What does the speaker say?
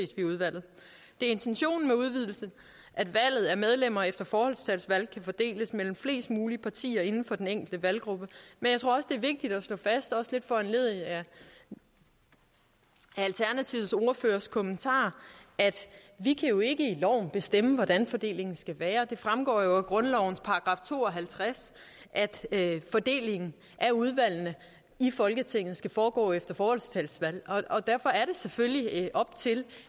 er intentionen med udvidelsen at valget af medlemmer efter forholdstalsvalg kan fordeles mellem flest mulige partier inden for den enkelte valggruppe men jeg tror også det er vigtigt at slå fast også lidt foranlediget af alternativets ordførers kommentar at vi jo ikke i loven kan bestemme hvordan fordelingen skal være det fremgår jo af grundlovens § to og halvtreds at fordelingen af udvalgene i folketinget skal foregå efter forholdstalsvalg og derfor er det selvfølgelig op til